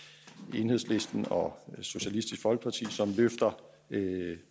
enhedslisten og socialistisk folkeparti som løfter